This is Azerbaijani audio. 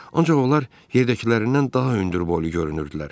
Ancaq onlar yerdəkilərindən daha hündürboylu görünürdülər.